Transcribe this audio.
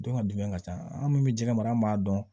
Don ka dun ka ca an min bɛ jɛgɛ mara an b'a dɔn